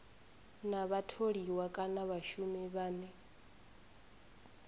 na vhatholiwa kana vhashumi vhane